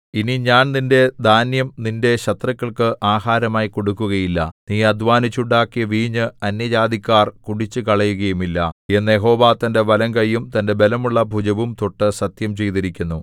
ഇനി ഞാൻ നിന്റെ ധാന്യം നിന്റെ ശത്രുക്കൾക്കു ആഹാരമായി കൊടുക്കുകയില്ല നീ അദ്ധ്വാനിച്ചുണ്ടാക്കിയ വീഞ്ഞ് അന്യജാതിക്കാർ കുടിച്ചുകളയുകയുമില്ല എന്നു യഹോവ തന്റെ വലംകൈയും തന്റെ ബലമുള്ള ഭുജവും തൊട്ടു സത്യം ചെയ്തിരിക്കുന്നു